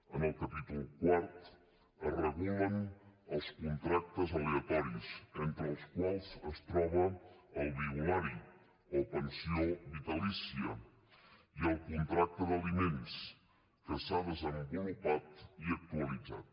en el capítol quart es regulen els contractes aleatoris entre els quals es troba el violari o pensió vitalícia i el contracte d’aliments que s’ha desenvolupat i actualitzat